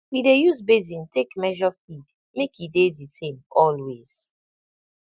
we dey use basin take measure feed make e dey the same always